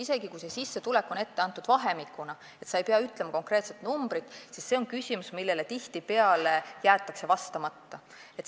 Isegi kui on ette antud vahemik ega pea ütlema konkreetset numbrit, siis see on küsimus, millele tihtipeale jäetakse vastamata.